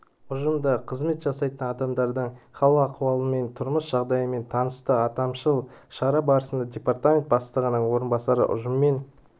ұжымда қызмет жасайтын адамдардың хал-ахуалымен тұрмыс жағдайларымен танысты аталмыш шара барысында департамент бастығының орынбасары ұжыммен